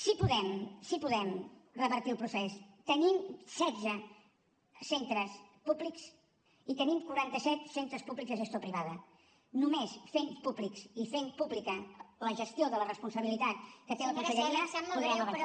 si podem si podem revertir el procés tenim setze centres públics i tenim quaranta set centres públics de gestió privada només fent públics i fent pública la gestió de la responsabilitat que té la conselleria podrem avançar